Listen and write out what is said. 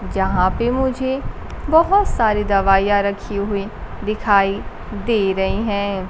जहां पे मुझे बहोत सारे दवाइयां रखी हुई दिखाई दे रही हैं।